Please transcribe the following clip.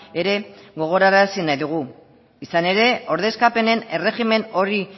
ere gogorarazi nahi dugu izan ere ordezkapenen erregimen hori